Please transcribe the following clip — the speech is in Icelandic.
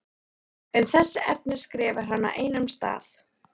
Um þessi efni skrifar hann á einum stað